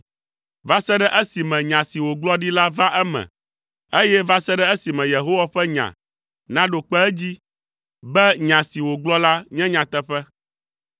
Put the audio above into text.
va se ɖe esime nya si wògblɔ ɖi la va eme, eye va se ɖe esime Yehowa ƒe nya naɖo kpe edzi, be nya si wògblɔ la nye nyateƒe.